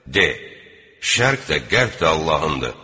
De: Şərq də, qərb də Allahındır.